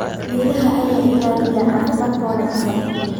Miraha ayaa ilaaliya caafimaadka wanaagsan.